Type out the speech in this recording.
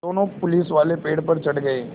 दोनों पुलिसवाले पेड़ पर चढ़ गए